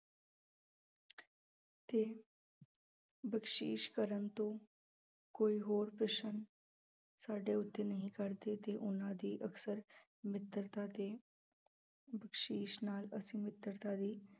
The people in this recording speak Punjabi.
ਤੇ ਬਖ਼ਸਿਸ਼ ਕਰਨ ਤੋਂ ਕੋਈ ਹੋਰ ਪ੍ਰਸ਼ਨ ਸਾਡੇ ਉੱਤੇ ਨਹੀਂ ਕਰਦੇ ਤੇ ਉਹਨਾਂ ਦੀ ਅਕਸਰ ਮਿੱਤਰਤਾ ਤੇ ਬਖ਼ਸਿਸ਼ ਨਾਲ ਅਸੀਂ ਮਿੱਤਰਤਾ ਦੀ